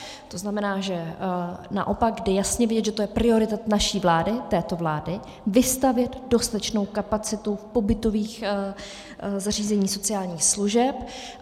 To znamená, že naopak je jasně vidět, že to je priorita naší vlády, této vlády, vystavět dostatečnou kapacitu v pobytových zařízeních sociálních služeb.